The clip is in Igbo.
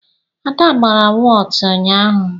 Ada gbara wọtu ụnyaahụ.